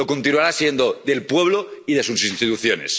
Lo continuará siendo, del pueblo y de sus instituciones.